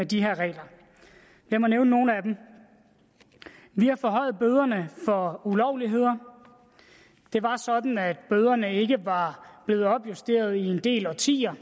de regler lad mig nævne nogle af dem vi har forhøjet bøderne for ulovligheder det var sådan at bøderne ikke var blevet opjusteret i en del årtier